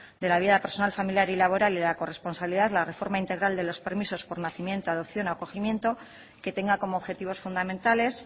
de la vida personal familiar y laboral y la corresponsabilidad la reforma integral de los permisos por nacimiento adopción acogimiento que tenga como objetivos fundamentales